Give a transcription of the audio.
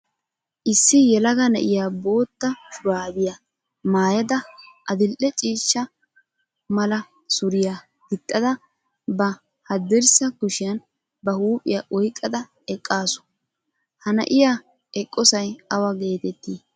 Issi yelaga na"iyaa bootta shuraabiya maayada adidhe ciishsha mala suriya gixxada ba haddirssa kushiyan ba huuphiya oyqqada eqqaasu. Ha na"iya eqqosay awa geetetii?